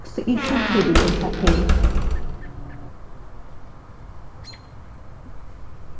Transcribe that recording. আমরা ফাংশন শর্তাবলী যোগ বা তথ্য যেকোনো ক্রমে সাজানো যেতে পারে